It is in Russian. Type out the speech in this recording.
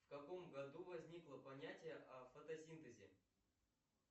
в каком году возникло понятие о фотосинтезе